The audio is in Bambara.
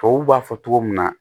Tubabu b'a fɔ cogo min na